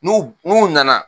N'u n'u nana